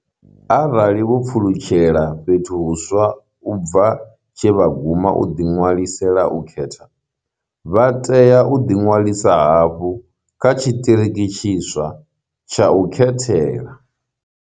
Arali vho pfulutshela fhethu huswa u bva tshe vha guma u ḓiṅwalisela u khetha, vha tea u ḓiṅwalisa hafhu kha tshiṱiriki tshiswa tsha u khethela.